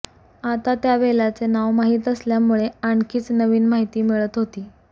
आता त्या वेलाचे नाव माहित असल्यामुळे आणखीनच नवीन माहिती मिळत होती